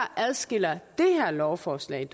adskiller det her lovforslag